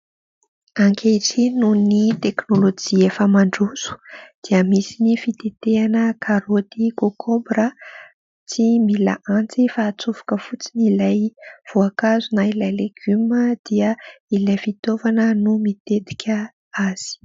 Ankehitriny noho ny teknolojia efa mandroso dia misy ny fitetehana, karoty, kokombra, tsy mila antsy fa hatsofoka fotsiny. Ilay voankazo na ilay legioma dia ilay fitaovana no mitetika azy.